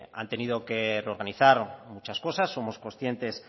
han tenido que reorganizar muchas cosas somos conscientes